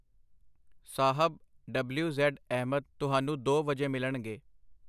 ਸਾਹਬ (W. Z. Ahmad) ਤੁਹਾਨੂੰ ਦੋ ਵਜੇ ਮਿਲਣਗੇ.